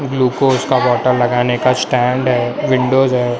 Glucose water लगाने का stand है विंडोज है।